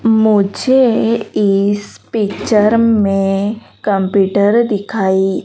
मुझे इस पिक्चर में कंप्यूटर दिखाई--